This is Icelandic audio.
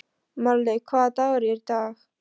Marlaug, hvaða dagur er í dag?